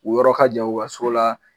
U yɔrɔ ka jan u ka so la